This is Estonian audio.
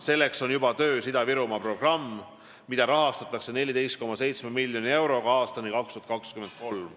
Selleks on juba töös Ida-Virumaa programm, mida rahastatakse 14,7 miljoni euroga aastani 2023.